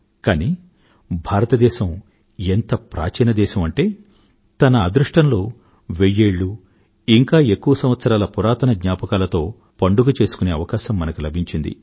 కానీ భారతదేశం ఎంత ప్రాచీన దేశం అంటే తన అదృష్టంలో వెయ్యేళ్ళు ఇంకా ఎక్కువ సంవత్సరాల పురాతన జ్ఞాపకాలతో పండుగ చేసుకునే అవకాశం మనకు లభించింది